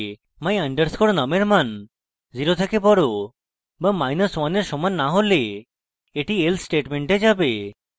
my _ num এর মান 0 এর থেকে বড় বা1 এর সমান না হলে এটি else স্টেটমেন্টে যাবে